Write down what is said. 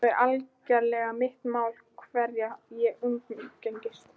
Það er algerlega mitt mál hverja ég umgengst.